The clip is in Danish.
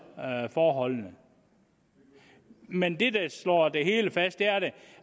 forholdene men det der står fast er